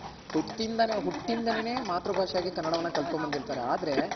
ಹುಟ್ತಿಂದ ಹುಟ್ತಿಂದಾನೆ ಮಾತೃ ಭಾಷೆ ಯಾಗಿ ಕನ್ನಡನ ಕಲ್ತ್ ಕೊಂಡ್ ಬಂದಿರ್ತಾರೆ ಆದ್ರೆ.